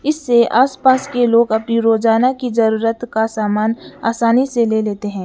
इससे आसपास के लोग अपनी रोजाना की जरूरत का सामान आसानी से ले लेते हैं।